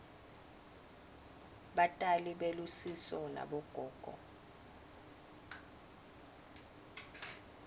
batali belusiso nabogogo